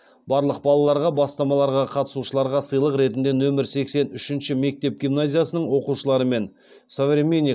барлық балаларға бастамаларға қатысушыларға сыйлық ретінде нөмір сексен үшінші мектеп гимназиясының оқушылары мен современник